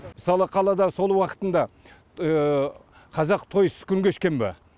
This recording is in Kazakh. мысалы қалада сол уақытында қазақ тойсыз күн кешкен ба